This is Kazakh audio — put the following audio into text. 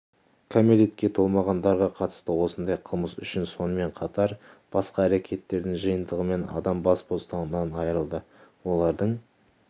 кәмелетке толмағандарға қатысты осындай қылмыс үшін сонымен қатар басқа әрекеттердің жиынтығымен адам бас бостандығынан айырылды олардың